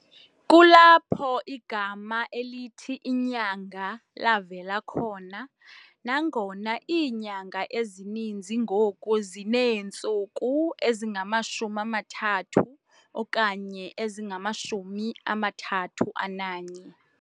Kulapho igama elithi "inyanga" lavela khona, nangona iinyanga ezininzi ngoku zineentsuku ezingama-30 okanye ezingama-31